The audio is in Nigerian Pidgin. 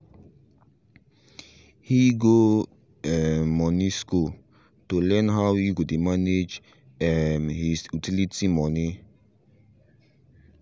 he go um moni school to learn how he go dey manage um his utility moni